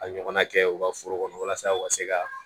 A ɲɔgɔnna kɛ u ka foro kɔnɔ walasa u ka se ka